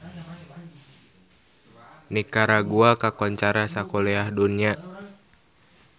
Nikaragua kakoncara sakuliah dunya